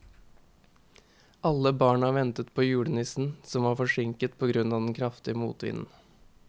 Alle barna ventet på julenissen, som var forsinket på grunn av den kraftige motvinden.